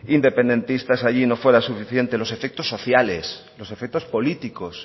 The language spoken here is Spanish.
independentistas allí no fuera suficiente los efectos sociales los efectos políticos